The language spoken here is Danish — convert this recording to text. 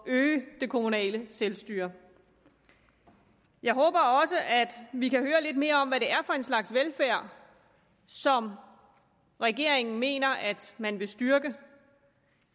at øge det kommunale selvstyre jeg håber også at vi kan høre lidt mere om hvad det er for en slags velfærd som regeringen mener at man vil styrke